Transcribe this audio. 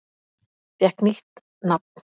Fékk nýtt nafn